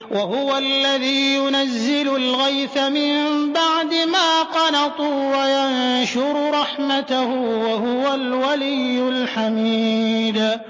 وَهُوَ الَّذِي يُنَزِّلُ الْغَيْثَ مِن بَعْدِ مَا قَنَطُوا وَيَنشُرُ رَحْمَتَهُ ۚ وَهُوَ الْوَلِيُّ الْحَمِيدُ